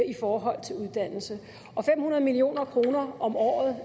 i forhold til uddannelse og fem hundrede million kroner om året